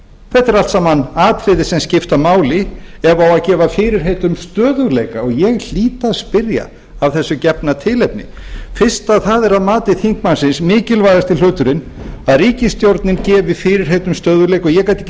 þetta eru allt saman atriði sem skipta máli ef það á að gefa fyrirheit um stöðugleika ég hlýt að spyrja af þessu gefna tilefni fyrst það er að mati þingmannsins mikilvægasti hluturinn að ríkisstjórnin gefi fyrirheit um stöðugleika og ég gat ekki